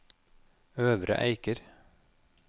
Øvre Eiker